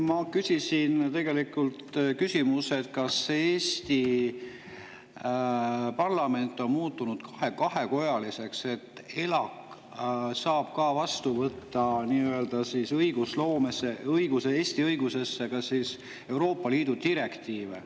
Ma küsisin küsimuse, kas Eesti parlament on muutunud kahekojaliseks, et ELAK saab võtta Eesti õigusesse üle Euroopa Liidu direktiive.